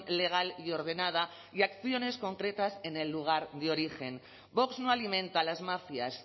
legal y ordenada y acciones concretas en el lugar de origen vox no alimenta las mafias